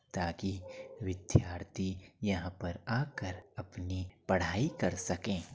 ताकि विद्यार्थी यहाँ पर आकर अपनी पढ़ाई कर सकें --